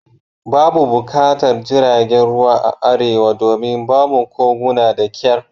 Babu buƙatar jiragen ruwa a Arewa domin babu koguna da kyar